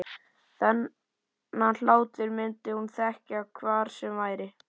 Þennan hlátur myndi hún þekkja hvar sem væri.